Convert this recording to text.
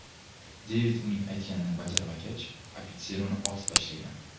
Devid uning aytganini bajarmagach, ofitser uni otib tashlagan.